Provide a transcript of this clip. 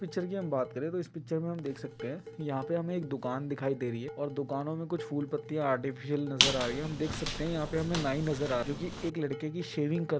picture की हम बात करे तो इस पिक्चर में हम देख सकते हैं यहाँ पे हमें एक दुकान दिखाय दे रही है और दुकानों में कुछ फूल पत्तियां अर्तिफिस्यल नजर आ रही है देख सकते हैं यहाँ पर हमे नाई नजर आ रहा है जो की एक लड़के की शेविंग कर --